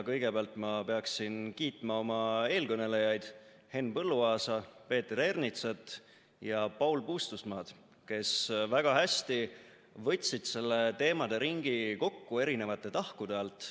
Kõigepealt ma pean kiitma oma eelkõnelejaid Henn Põlluaasa, Peeter Ernitsat ja Paul Puustusmaad, kes väga hästi võtsid selle teemaderingi kokku eri tahkude alt.